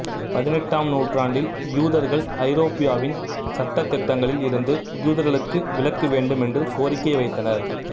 பதினெட்டாம் நூற்றாண்டில் யூதர்கள் ஐரோப்பியாவின் சட்ட திட்டங்களில் இருந்து யூதர்களுக்கு விலக்கு வேண்டும் என்று கோரிக்கை வைத்தனர்